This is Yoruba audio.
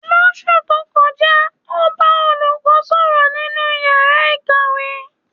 Lóṣú tó kọjá, ó bá olùkọ́ sọ̀rọ̀ nínú ìyára ìkàwé.